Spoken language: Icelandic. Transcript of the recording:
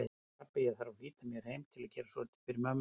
Pabbi, ég þarf að flýta mér heim til að gera svolítið fyrir mömmu